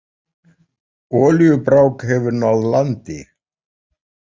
Olíubrák hefur náð landi